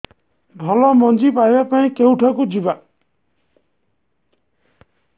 ଭଲ ମଞ୍ଜି ପାଇବା ପାଇଁ କେଉଁଠାକୁ ଯିବା